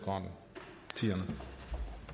og eu